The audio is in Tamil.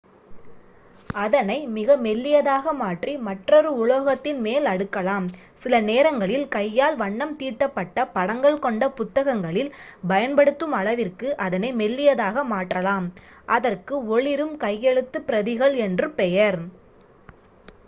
"அதனை மிக மெல்லியதாக மாற்றி மற்றொரு உலோகத்தின் மேல் அடுக்கலாம். சில நேரங்களில் கையால்- வண்ணம் தீட்டப்பட்ட படங்கள் கொண்ட புத்தகங்களில் பயன்படுத்தும் அளவிற்கு அதனை மெல்லியதாக மாற்றலாம் அதற்கு "ஒளிரும் கையெழுத்துப் பிரதிகள்" என்று பெயர்.